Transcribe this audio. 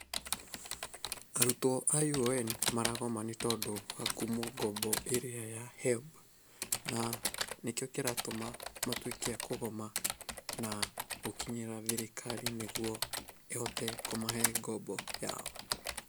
Arutwo a UoN maragoma ni tondũ wa kũimwo ngombo ĩrĩa ya Helb, na nĩkĩo kĩratũma matwĩke a kũgoma na gũkinyĩra thirikari nĩguo ĩhote kũmahe ngombo yao.